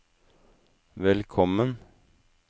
velkommen